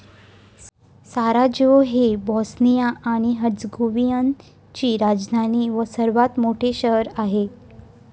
Sarajevo हे Bosnia आणि Herzegovina ची राजधानी व सर्वात मोठे शहर आहे